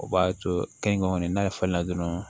O b'a to kɛnkɛnɛ n'a fɔlen na dɔrɔn